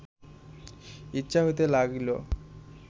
ইচ্ছা হইতে লাগিল